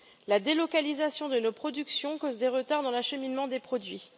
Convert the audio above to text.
La délocalisation de nos productions cause des retards dans l'acheminement des produits.